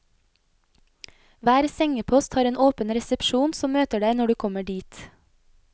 Hver sengepost har en åpen resepsjon som møter deg når du kommer dit.